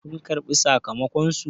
kun karbi sakamakonsu!